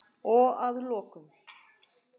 Og að lokum.